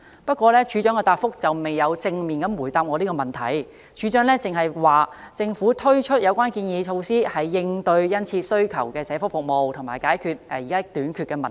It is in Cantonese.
不過，署長的答覆未有正面回答我的問題，署長只表示，政府推出有關建議措施是應對需求殷切的社福服務，並解決處所短缺的問題。